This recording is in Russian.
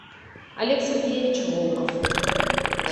олег сергеевич волков